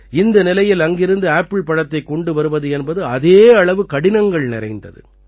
இந்த நிலையில் அங்கிருந்து ஆப்பிள் பழத்தைக் கொண்டு வருவது என்பது அதே அளவு கடினங்கள் நிறைந்தது